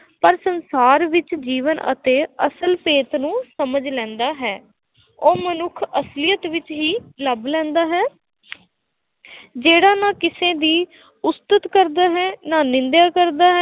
ਪਰ ਸੰਸਾਰ ਵਿੱਚ ਜੀਵਨ ਅਤੇ ਅਸਲ ਭੇਤ ਨੂੰ ਸਮਝ ਲੈਂਦਾ ਹੈ, ਉਹ ਮਨੁੱਖ ਅਸਲੀਅਤ ਵਿੱਚ ਹੀ ਲੱਭ ਲੈਂਦਾ ਹੈ ਜਿਹੜਾ ਨਾ ਕਿਸੇ ਦੀ ਉਸਤਤ ਕਰਦਾ ਹੈ, ਨਾ ਨਿੰਦਿਆ ਕਰਦਾ ਹੈ।